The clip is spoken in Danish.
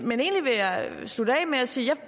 men egentlig vil jeg slutte af med at sige at